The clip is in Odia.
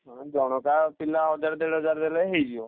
ହଁ ଜଣକା ପିଲା ଦେଢହଜାର ଟଙ୍କା ଲେଖନ ଦେଲେ ହେଇଯିବ।